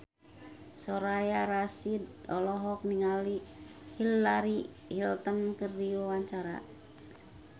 Soraya Rasyid olohok ningali Hillary Clinton keur diwawancara